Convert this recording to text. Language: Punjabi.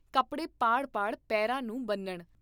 ਕਪੜੇ ਪਾੜ ਪਾੜ ਪੇਰਾ ਨੂੰ ਬੰਨ੍ਹਣ।